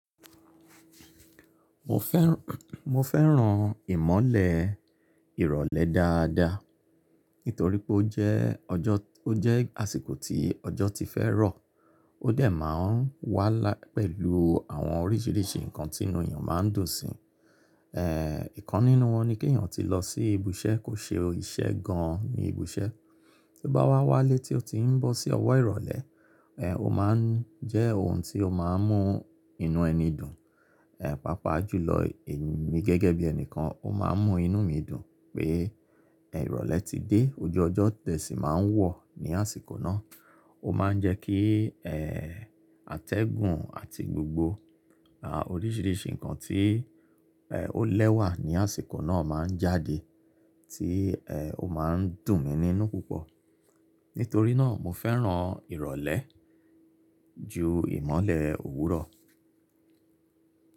Mo fẹ́, mo fẹ́ràn ìmọ́lẹ̀ ìrọ̀lẹ́ dáadáa. Nítorí pé ó jẹ́ ọjọ́, ó jẹ́ àsìkò tí ọjọ́ ti fẹ́ rọ̀. Ó dẹ̀ máa ń wá pẹ̀lú àwọn oríṣiríṣi nǹkan tí inú èèyàn máa ń dùn si. Ẹ̀, ìkan nínú wọn ni kí èèyàn tí lọ sí ibiṣẹ́ kò ṣe iṣẹ́ gan-an ní ibiṣẹ́, tí bá wá wálé tí ó ti ń bọ́ sí ọ̀wọ́ ìrọ̀lẹ́, ẹ̀, ó máa ń jẹ́ ohun tí ó máa ń mú inú ẹni dùn. Ẹ̀, pàápàá jùlọ èmi gẹ́gẹ́ bí ẹni kan, ó máa ń mú inú mi dùn pé, ẹ̀, ìrọ̀lẹ́ ti dé. Ojú ọjọ́ tẹ̀ sí máa ń wọ̀ ní àsìkò náà. Ó máa ń jẹ́ kí, ẹ́, àtẹ̀gùn àti gbogbo, àoríṣiríṣi nǹkan tí, ẹ́, ó lẹ́wà ní àsìkò náà máa ń jáde tí, ẹ́, ó máa ń dùn mí nínú púpọ̀. Nítorí náà mo fẹ́ràn ìrọ̀lẹ́ ju ìmọ́lẹ̀ òwúrọ̀ lọ.